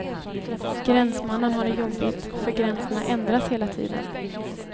Gränsmannen har det jobbigt, för gränserna ändras hela tiden.